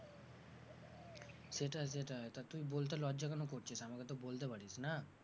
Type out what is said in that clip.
সেটাই সেটাই তা তুই বলতে লজ্জা কেন করছিস, আমাকে তো বলতে পারিস না?